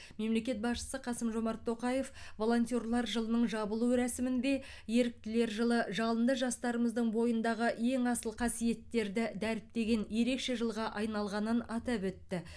мемлекет басшысы қасым жомарт тоқаев волонтерлар жылының жабылу рәсімінде еріктілер жылы жалынды жастарымыздың бойындағы ең асыл қасиеттерді дәріптеген ерекше жылға айналғанын атап өтті